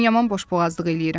Mən yaman boşboğazlıq eləyirəm.